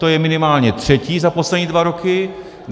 To je minimálně třetí za poslední dva roky.